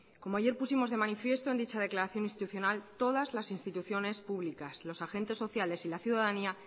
como ayer pusimos de manifiesto en dicha declaración institucional todas las instituciones públicas los agentes sociales y la ciudadanía